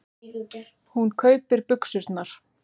Hún kaupir buxurnar.